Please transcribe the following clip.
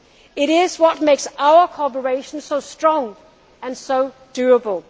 apart. It is what makes our cooperation so strong and so